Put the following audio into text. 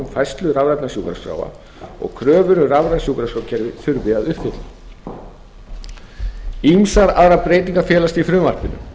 færslu rafrænna sjúkraskráa og kröfur um rafræn sjúkraskrárkerfi þurfi að uppfylla ýmsar aðrar breytingar felast í frumvarpinu